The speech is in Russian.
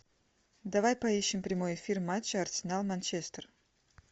давай поищем прямой эфир матча арсенал манчестер